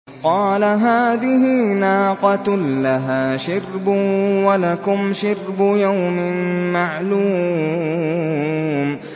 قَالَ هَٰذِهِ نَاقَةٌ لَّهَا شِرْبٌ وَلَكُمْ شِرْبُ يَوْمٍ مَّعْلُومٍ